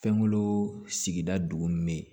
Fɛnkolo sigida dugu min bɛ yen